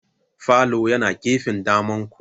Falo yana gefen damanku.